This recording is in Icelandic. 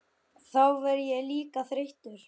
En þá verð ég líka þreyttur.